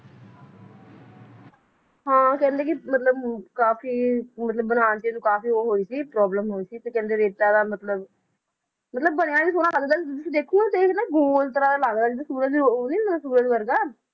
ਹਾਂ ਕਹਿੰਦੇ ਕਿ ਮਤਲਬ ਕਾਫੀ ਮਤਲਬ ਬਣਾਉਣ ਚ ਇਹਨੂੰ ਕਾਫੀ ਉਹ ਹੋਈ ਸੀ problem ਹੋਈ ਸੀ ਤੇ ਕਹਿੰਦੇ ਰੇਤਾ ਦਾ ਮਤਲਬ, ਮਤਲਬ ਬਣਿਆ ਵੀ ਸੋਹਣਾ ਲੱਗਦਾ ਵੀ ਤੁਸੀਂ ਦੇਖੋ ਤੇ ਇਹ ਨਾ ਗੋਲ ਤਰਾਂ ਦਾ ਲਗਦਾ ਜਿਦਾਂ ਸੂਰਜ ਦੀ ਉਹ ਨੀ ਹੁੰਦਾ ਸੂਰਜ ਵਰਗਾ